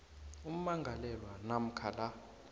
ummangalelwa namkha la